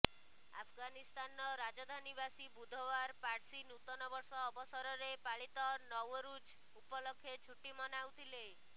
ଆଫଗାନିସ୍ତାନର ରାଜଧାନୀବାସୀ ବୁଧବାର ପାର୍ସି ନୂତନ ବର୍ଷ ଅବସରରେ ପାଳିତ ନୱରୁଜ୍ ଉପଲକ୍ଷେ ଛୁଟି ମନାଉଥିଲେ